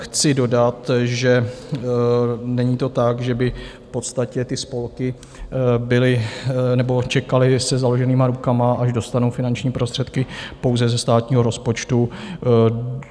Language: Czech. Chci dodat, že není to tak, že by v podstatě ty spolky čekaly se založenýma rukama, až dostanou finanční prostředky pouze ze státního rozpočtu.